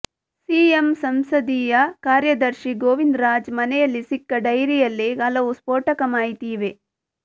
CM ಸಂಸದೀಯ ಕಾರ್ಯದರ್ಶಿ ಗೋವಿಂದರಾಜ್ ಮನೆಯಲ್ಲಿ ಸಿಕ್ಕ ಡೈರಿಯಲ್ಲಿ ಹಲವು ಸ್ಫೋಟಕ ಮಾಹಿತಿ ಇವೆ